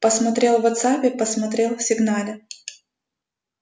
посмотрел в вотсаппе посмотрел в сигнале